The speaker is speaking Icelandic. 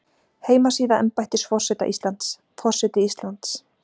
Heimasíða embættis forseta Íslands, Forseti Íslands.